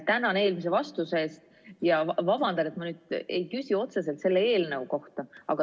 Tänan eelmise vastuse eest ja vabandan, et ma ei küsi otseselt selle eelnõu kohta.